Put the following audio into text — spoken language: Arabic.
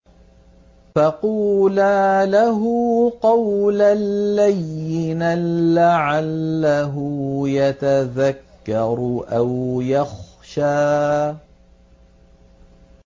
فَقُولَا لَهُ قَوْلًا لَّيِّنًا لَّعَلَّهُ يَتَذَكَّرُ أَوْ يَخْشَىٰ